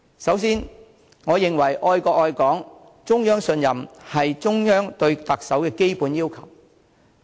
首先，我認為愛國愛港、中央信任是中央對特首的基本要求。